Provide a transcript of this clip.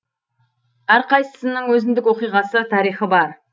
әрқайсысының өзіндік оқиғасы тарихы бар